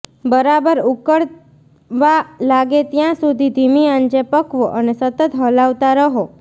બરાબર ઊકળવા લાગે ત્યાં સુધી ધીમી આંચે પકવો અને સતત હલાવતા રહો